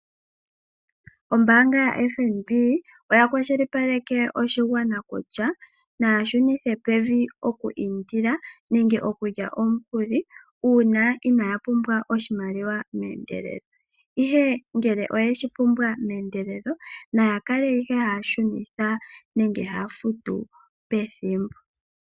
Ombaanga ya FNB oya kwashilipaleke oshigwana kutya naya shunithe pevi oku indila, nenge okulya omukuli uuna inaya pumbwa oshimaliwa meendelelo. Ihe ngele oye shi pumbwa mendelelo, naya kale ihe haya shunitha nenge haya futu pethimbo.